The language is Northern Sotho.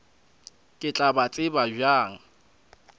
ke tla ba tseba bjang